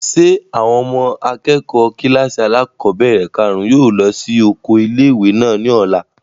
Ṣé àwọn ọmọ akẹ́kọ̀ọ́ kílàsì alákọ́bẹ̀rẹ̀ kàrún yóò lọ sí oko ilé-ìwé náà ní ọ̀la?